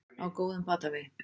Á góðum batavegi